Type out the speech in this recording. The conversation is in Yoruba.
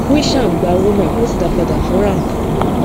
krishan gba owó náà ó sì dá a padà fún r am